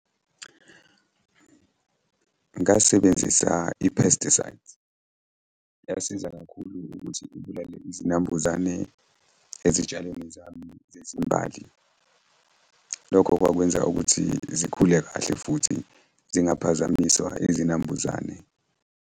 Ngasebenzisa i-pesticides. Yasiza kakhulu ukuthi ibulale izinambuzane ezitshalweni zami zezimbali. Lokho kwakwenza ukuthi zikhule kahle futhi zingaphazamiswa izinambuzane.